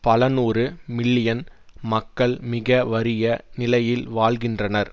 பல நூறு மில்லியன் மக்கள் மிக வறிய நிலையில் வாழ்கின்றனர்